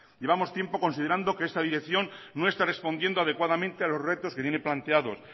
llevamos tiempo considerando que esta dirección no está respondiendo adecuadamente a los retos que tiene planteados